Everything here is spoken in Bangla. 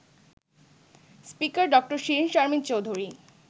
স্পিকার ড. শিরীন শারমিন চৌধুরী